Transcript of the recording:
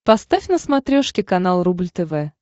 поставь на смотрешке канал рубль тв